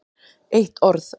Eitt orð